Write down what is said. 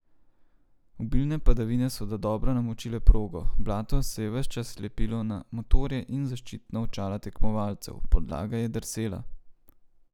Obilne padavine so dodobra namočile progo, blato se je ves čas lepilo na motorje in zaščitna očala tekmovalcev, podlaga je drsela.